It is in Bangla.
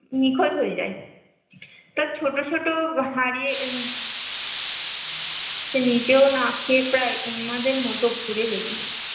নিখোঁজ হয়ে যায়, তার ছোট ছোট হারিয়ে সে নিজেও না খেয়ে প্রায় উন্মাদের মতো ঘুরে বেড়িয়ে